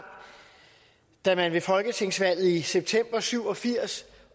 da man ved folketingsvalget i september nitten syv og firs